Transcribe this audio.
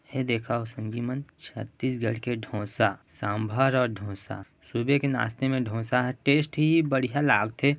एह देखो संगिमान छत्तीसगढ़ के ढोसा सांभर और ढोसा सुबह के नास्ते मैं ढोसा हा टेस्टी बढ़िया लागथे।